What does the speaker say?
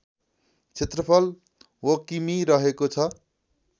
क्षेत्रफल वकिमि रहेको छ